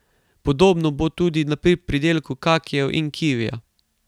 Podobno bo tudi pri pridelku kakijev in kivija.